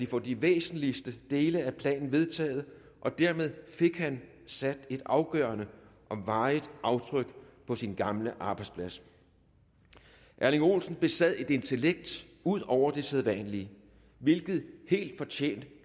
få de væsentligste dele af planen vedtaget og dermed fik han sat et afgørende og varigt aftryk på sin gamle arbejdsplads erling olsen besad et intellekt ud over det sædvanlige hvilket helt fortjent